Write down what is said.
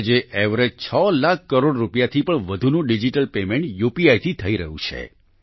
આજે એવરેજ 6 લાખ કરોડ રૂપિયાથી પણ વધુનું ડિજીટલ પેમેન્ટ યુપીઆઇ થી થઈ રહ્યું છે